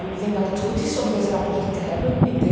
Ik denk dat het goed is om deze verslagen te hebben.